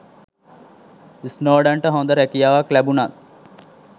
ස්නෝඩන්ට හොඳ රැකියාවක් ලැබුණත්